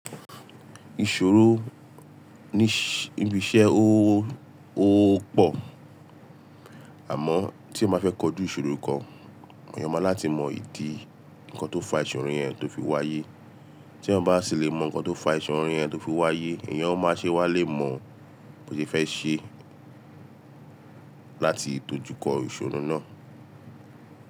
Ìṣòro níbi iṣẹ́ ó, ó pọ̀. Àmọ́ tí ẹ ma fẹ́ kojú ìṣòro kan, èèyàn máa láti mọ ìdí nǹkan tó fa ìṣòro yẹn tó fi wáyé. Tí ẹ bá sì lè mọ nǹkan tó fa ìṣòro yẹn tó fi wáyé, èèyàn máa ṣe wá lè mọ bó ti fẹ́ ṣe láti dójúkọ ìṣòro náà.